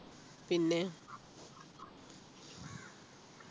പിന്നെ